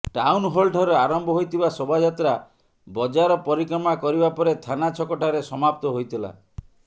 town ହଲଠାରୁ ଆରମ୍ଭ ହୋଇଥିବା ଶୋଭାଯାତ୍ରା ବଜାର ପରିକ୍ରମା କରିବା ପରେ ଥାନା ଛକଠାରେ ସମାପ୍ତ ହୋଇଥିଲା